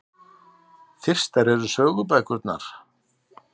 Fyrstar eru sögubækurnar.